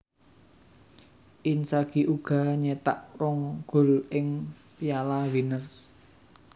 Inzagi uga nyetak rong gol ing Piala Winners